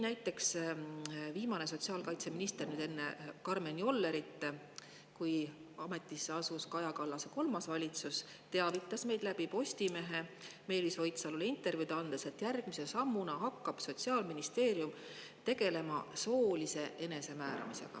Viimane sotsiaalkaitseminister enne Karmen Jollerit teavitas meid – siis kui Kaja Kallase kolmas valitsus ametisse asus – Postimehes Meelis Oidsalule antud intervjuus, et järgmise sammuna hakkab Sotsiaalministeerium tegelema soolise enesemääramisega.